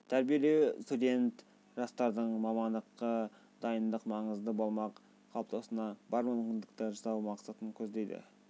тәрбиелеу студент жастардың мамандыққа дайындық маңызы болмақ қалыптасуына бар мүмкіндікті жасау мақсатын көздейді